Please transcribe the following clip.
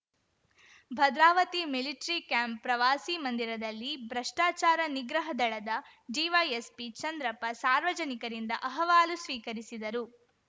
Bhadravati military camp ಪ್ರವಾಸಿ ಮಂದಿರದಲ್ಲಿ ಭ್ರಷ್ಟಾಚಾರ ನಿಗ್ರಹ ದಳದ ಡಿವೈಎಸ್ಪಿ ಚಂದ್ರಪ್ಪ ಸಾರ್ವಜನಿಕರಿಂದ ಅಹವಾಲು ಸ್ವೀಕರಿಸಿದರು